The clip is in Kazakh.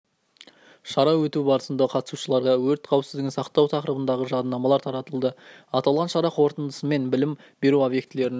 шара өту барысында қатысушыларға өрт қауіпсіздігін сақтау тақырыбындағы жадынамалар таратылды аталған шара қорытындысымен білім беру объектілерінің